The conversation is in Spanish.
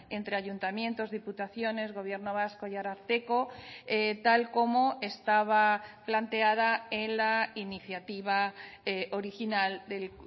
entre ayuntamientos diputaciones gobierno vasco y ararteko tal como estaba planteada en la iniciativa original del